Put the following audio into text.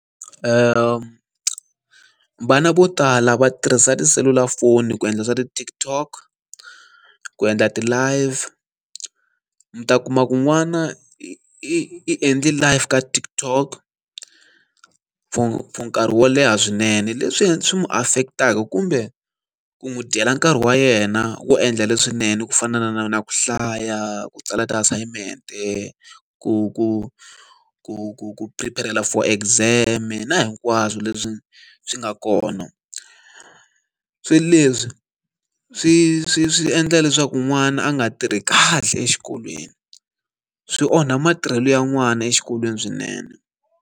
Vana vo tala va tirhisa tiselulafoni ku endla swa ti-TikTok. ku endla ti-live. Mi ta kuma ku n'wana i i i endle live ka TikTok for nkarhi wo leha swinene, leswi swi n'wi affect-aka kumbe ku n'wi dyela nkarhi wa yena wo endla leswinene ku fana na na na ku hlaya, ku tsala ti-assignment-e, ku ku ku ku ku prepare-rela for exam-e na hinkwaswo leswi swi nga kona. Swilo leswi swi swi swi endla leswaku n'wana a nga tirhi kahle exikolweni, swi onha matirhelo ya n'wana exikolweni swinene.